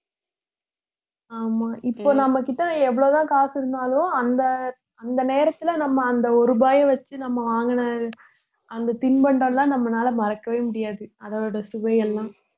ஆமா இப்போ நம்ம கிட்ட எவ்வளவு தான் காசு இருந்தாலும் அந்த அந்த நேரத்திலே நம்ம அந்த ஒரு ரூபாயை வச்சு நம்ம வாங்கின அந்த அந்த தின்பண்டம் எல்லாம் நம்மளால மறக்கவே முடியாது அதோட சுவை எல்லாம்